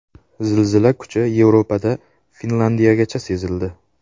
Zilzila kuchi Yevropada Finlandiyagacha sezildi.